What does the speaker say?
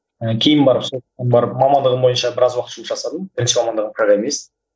ы кейін барып мамандығым бойынша біраз уақыт жұмыс жасадым бірінші мамандығым программист